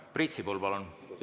Priit Sibul, palun!